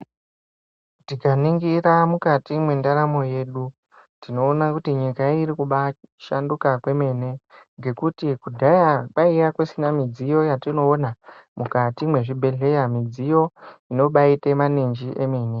Tikaningira mukati mwendaramo yedu tinoona kuti nyika irikubashanduka kwemene ngekuti kudhaya kwaiya kusina midziyo yatinoona mukati mwezvibhehleya. Midziyo inobaite maninji emene.